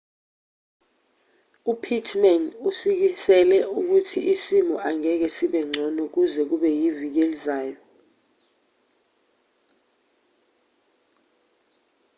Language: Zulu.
upittman usikisele ukuthi isimo angeke sibe ngcono kuze kube iviki elizayo